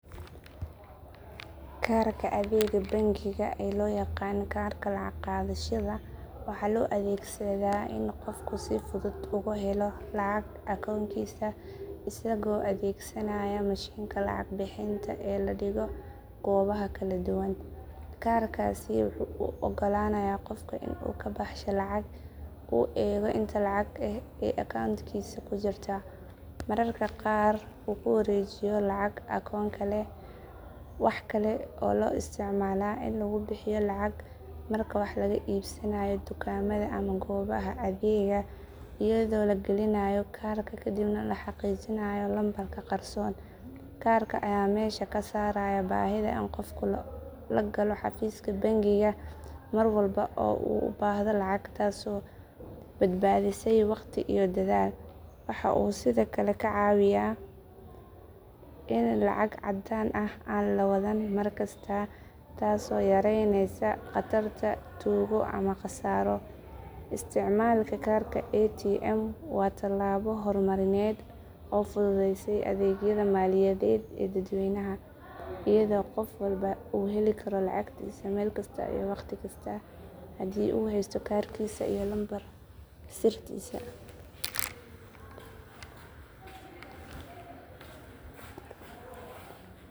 Karka adeega bangiga ee loo yaqaan karka lacag qaadashada waxaa loo adeegsadaa in qofku si fudud uga helo lacagta akoonkiisa isagoo adeegsanaya mashiinka lacag bixinta ee la dhigo goobaha kala duwan. Karkaasi wuxuu u oggolaanayaa qofka in uu ka baxsho lacag, uu eego inta lacag ah ee akoonkiisa ku jirta, mararka qaarna uu ku wareejiyo lacag akoon kale. Waxa kale oo loo isticmaalaa in lagu bixiyo lacag marka wax laga iibsanayo dukaamada ama goobaha adeegga iyadoo la gelinayo karka kadibna la xaqiijinayo lambarka qarsoon. Karka ayaa meesha ka saaray baahida in qofku la galo xafiiska bangiga mar walba oo uu u baahdo lacag taasoo badbaadisay waqti iyo dadaal. Waxa uu sidoo kale ka caawiyaa in lacag caddaan ah aan la wadan mar kasta taasoo yareynaysa khatarta tuugo ama khasaaro. Isticmaalka karka ATM waa tallaabo hormarineed oo fududeysay adeegyada maaliyadeed ee dadweynaha, iyadoo qof walba uu heli karo lacagtiisa meel kasta iyo wakhti kasta haddii uu haysto karkiisa iyo lambar sirtiisa.